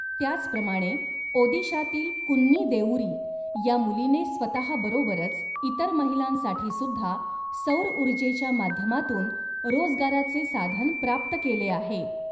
त्याचप्रमाणे ओदीशातील कुन्नी देउरी या मुलीने स्वतहा बरोबरच इतर महिलांसाठी सुद्धा सौरउर्जेच्या माध्यमातून रोजगाराचे साधन प्राप्त केले आहे.